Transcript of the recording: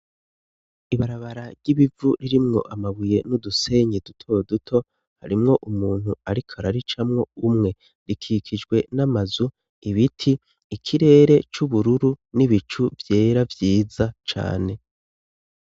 Ibarabara ry'ibivu ririmwo amabuye n'udusenye duto duto harimwo umuntu, ariko araricamwo umwe rikikijwe n'amazu ibiti ikirere c'ubururu n'ibicu vyera vyiza cane.